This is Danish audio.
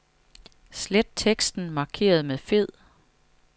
Slet teksten markeret med fed.